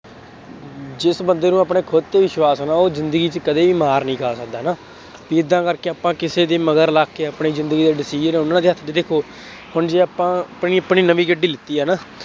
ਜਿਸ ਬੰਦੇ ਨੂੰ ਆਪਣੇ ਖੁਦ ਤੇ ਵਿਸ਼ਵਾਸ ਹੈ ਨਾ ਉਹ ਜ਼ਿੰਦਗੀ ਚ ਕਦੀ ਵੀ ਮਾਰ ਨਹੀਂ ਖਾ ਸਕਦਾ ਨਾ। ਏਦਾਂ ਕਰਕੇ ਆਪਾਂ ਕਿਸੇ ਦੇ ਮਗਰ ਲੱਗ ਕੇ ਕੇ ਆਪਣੀ ਜ਼ਿੰਦਗੀ ਦਾ decision ਉਹਨਾ ਦੇ ਹੱਥ ਚ, ਹੁਣ ਜੇ ਆਪਾਂ ਆਪਣੀ ਆਪਣੀ ਨਵੀਂ ਗੱਡੀ ਲਿਤੀ ਹੈ ਨਾ,